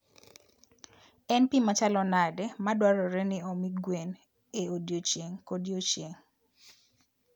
En pi machalo nade madwarore ni omi gwen e odiechieng' kodiechieng'?